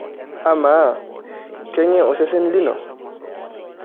Amaa keng'e osesen lino?